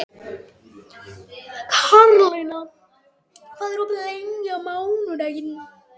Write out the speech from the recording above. Karlína, hvað er opið lengi á mánudaginn?